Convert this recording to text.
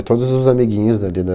E todos os amiguinhos dali da...